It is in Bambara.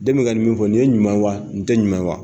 Den bɛ ka nin min fɔ, nin ye ɲuman wa nin tɛ ɲuman wa!